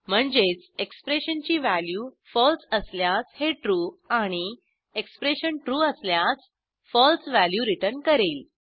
म्हणजेच एक्सप्रेशनची value false असल्यास हे ट्रू आणि एक्सप्रेशन trueअसल्यास फळसे व्हॅल्यू रिटर्न करेल